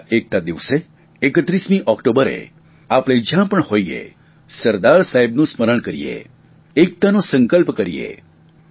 અને આ એકતા દિવસે 31 ઓકટોબરે આપણે જયાં પણ હોઇએ સરદાર સાહેબનું સ્મરણ કરીએ એકતાનો સંકલ્પ કરીએ